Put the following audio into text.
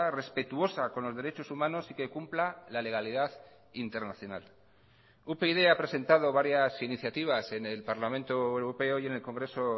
respetuosa con los derechos humanos y que cumpla la legalidad internacional upyd ha presentado varias iniciativas en el parlamento europeo y en el congreso